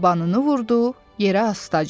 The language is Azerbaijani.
Dabanını vurdu yerə astaca.